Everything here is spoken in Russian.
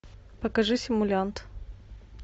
покажи симулянт